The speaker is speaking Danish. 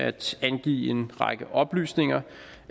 at angive en række oplysninger